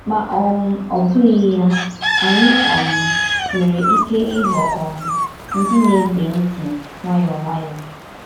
Ma um ọ bụ̣ghí ya, ànyì um nwerè íké ịghọ̀ um ndí na-ègbè ntì nwáyọ̀ọ́ nwáyọ̀ọ́.